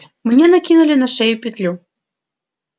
мне накинули на шею петлю